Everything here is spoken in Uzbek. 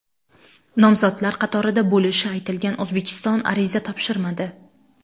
Nomzodlar qatorida bo‘lishi aytilgan O‘zbekiston ariza topshirmadi.